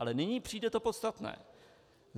Ale nyní přijde to podstatné.